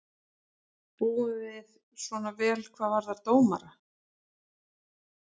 Búum við svona vel hvað varðar dómara?